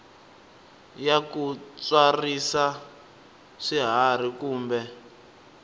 ya ku tswarisa swiharhi kumbe